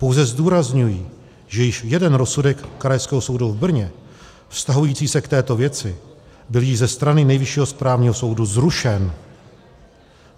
Pouze zdůrazňuji, že již jeden rozsudek Krajského soudu v Brně vztahující se k této věci byl již ze strany Nejvyššího správního soudu zrušen.